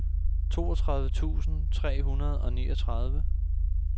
toogtredive tusind tre hundrede og niogtredive